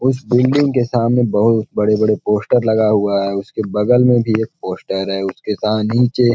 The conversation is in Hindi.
उस बिल्डिंग के सामने बोहुत बड़े-बड़े पोस्टर लगा हुआ है उसके बगल में भी एक पोस्टर उसके सा नीचे.--